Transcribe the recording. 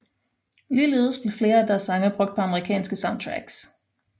Ligeledes blev flere af deres sange brugt på Amerikanske soundtracks